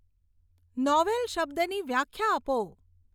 novel શબ્દની વ્યાખ્યા આપો